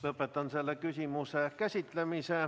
Lõpetan selle küsimuse käsitlemise.